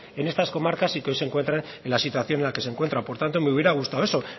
en estas comarcas y que hoy se encuentran en la situación en la que se encuentra por tanto me hubiera gustado eso